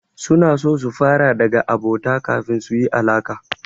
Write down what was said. Suna so su fara daga abota kafin su yi alaƙa.